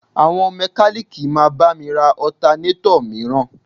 Àwọn mẹ́kalíìkì máa bá mi ra Ọtanétọ̀ mìíràn